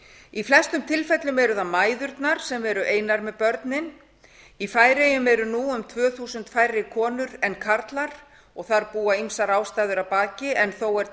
í flestum tilfellum eru það mæðurnar sem eru einar með börnin í færeyjum eru nú um tvö þúsund færri konur en karlar þar búa ýmsar ástæður að baki en þó er